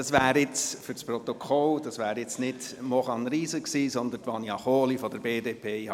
Für das Protokoll: Das wäre jetzt nicht Maurane Riesen gewesen, wie es auf der Anzeigetafel steht, sondern Vania Kohli von der BDP.